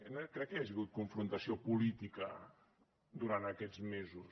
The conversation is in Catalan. no crec que hi hagi hagut confrontació política durant aquests mesos